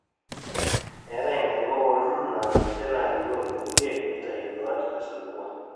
eetai inkarikok olturrur naa ninje naarikoo inkulie neitau induaat tesapuko